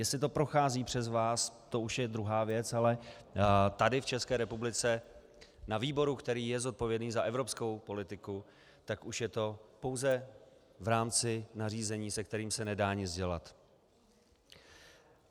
Jestli to prochází přes vás, to už je druhá věc, ale tady v České republice na výboru, který je zodpovědný za evropskou politiku, tak už je to pouze v rámci nařízení, se kterým se nedá nic dělat.